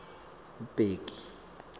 bheki